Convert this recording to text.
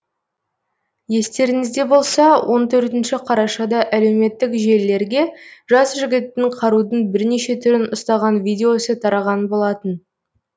естеріңізде болса он төртінші қарашада әлеуметтік желілерге жас жігіттің қарудың бірнеше түрін ұстаған видеосы тараған болатын